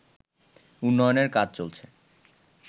উন্নয়নের কাজ চলছে